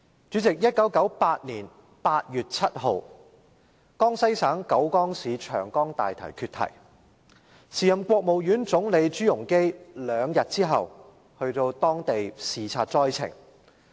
主席，在1998年8月7日，江西省九江市長江大堤決堤，時任國務院總理朱鎔基兩天後到當地視察災情。